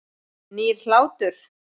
Nýr hlátur.